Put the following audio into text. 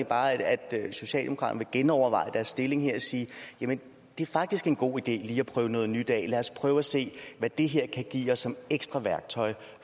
bare at socialdemokraterne vil genoverveje deres stilling her og sige jamen det er faktisk en god idé lige at prøve noget nyt af lad os prøve at se hvad det her kan give som ekstra værktøj